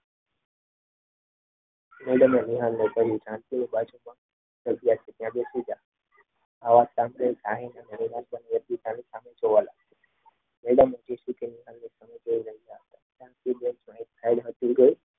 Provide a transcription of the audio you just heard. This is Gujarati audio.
મેડમે વિહારને કહ્યું જાનકીની બાજુમાં તે જગ્યા છે તે બેસી જા. સામે જોવા લાગ્યા. મેડમ હજી જાનકીની સામે જોઈ રહ્યા હતા.